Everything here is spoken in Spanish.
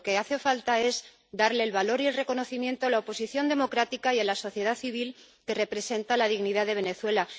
Lo que hace falta es darle el valor y el reconocimiento a la oposición democrática y a la sociedad civil que representan la dignidad de Venezuela.